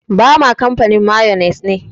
Bama kamfanin mayones ne.